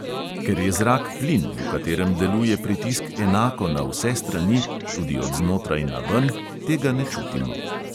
Ker je zrak plin, v katerem deluje pritisk enako na vse strani, tudi odznotraj naven, tega ne čutimo.